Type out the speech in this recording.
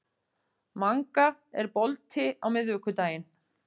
Manga, er bolti á miðvikudaginn?